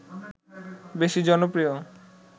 বেশি জনপ্রিয়